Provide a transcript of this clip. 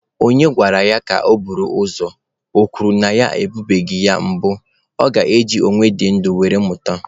Onye agwara ya bịa buru ozu, o kwuo na ya ebunubeghị ya mbụ, ọ ga-eji onye dị ndụ were mụta?